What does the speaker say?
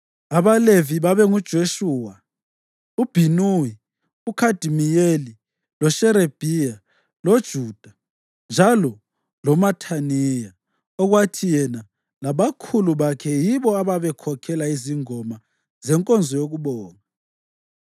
AbaLevi babe nguJeshuwa, loBhinuwi, loKhadimiyeli, loSherebhiya, loJuda njalo loMathaniya, okwathi yena, labakhula bakhe yibo ababekhokhela izingoma zenkonzo yokubonga.